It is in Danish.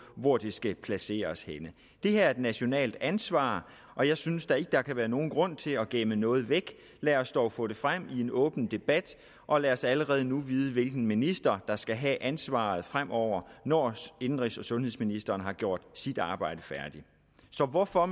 hvor det skal placeres henne det her er et nationalt ansvar og jeg synes da ikke der kan være nogen grund til at gemme noget væk lad os dog få det frem i en åben debat og lad os allerede nu vide hvilken minister der skal have ansvaret fremover når indenrigs og sundhedsministeren har gjort sit arbejde færdigt så hvorfor